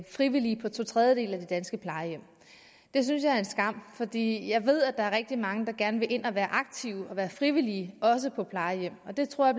frivillige på to tredjedele af de danske plejehjem det synes jeg er en skam fordi jeg ved at der er rigtig mange der gerne vil ind og være aktive og være frivillige også på plejehjem og det tror